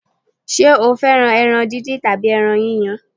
Ṣé o fẹ́ràn ẹran díndín tàbí ẹran yíyan?